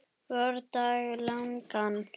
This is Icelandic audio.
vordag langan.